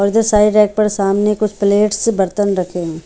और जो सारे रैक पर सामने कुछ प्लेट्स बर्तन रखे हुए --